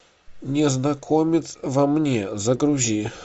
незнакомец во мне загрузи